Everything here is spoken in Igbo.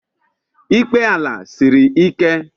Ikpe ala siri ike.